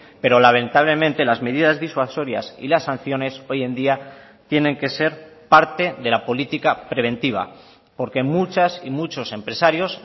pero lamentablemente las medidas disuasorias y las sanciones hoy en día tienen que ser parte de la política preventiva porque muchas y muchos empresarios